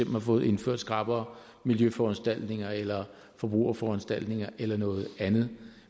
har fået indført skrappere miljøforanstaltninger eller forbrugerforanstaltninger eller noget andet